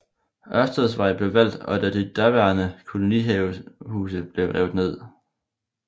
Ørstedsvej blev valgt og de daværende kolonihavehuse blev revet ned